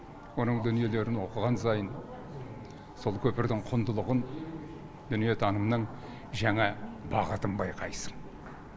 оның дүниелерін оқыған сайын сол көпірдің құндылығын дүниетанымның жаңа бағытын байқайсың